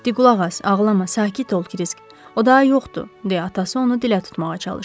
Di qulaq as, ağlama, sakit ol Krisk, o daha yoxdur deyə atası onu dilə tutmağa çalışdı.